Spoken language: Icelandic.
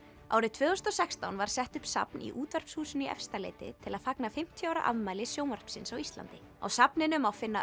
árið tvö þúsund og sextán var sett upp safn í Útvarpshúsinu í Efstaleiti til að fagna fimmtíu ára afmæli sjónvarpsins á Íslandi á safninu má finna